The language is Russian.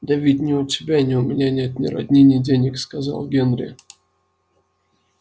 да ведь ни у тебя ни у меня нет ни родни ни денег сказал генри